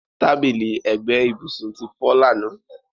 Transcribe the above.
Tábìlì ẹgbẹ́ ìbùsùn ti fọ́ lánàá.